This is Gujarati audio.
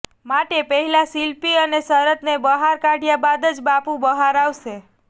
માટે પહેલા શિલ્પી અને શરતને બહાર કાઢયા બાદ જ બાપુ બહાર આવશે